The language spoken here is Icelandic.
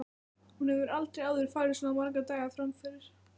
Hún hefur aldrei áður farið svona marga daga fram yfir.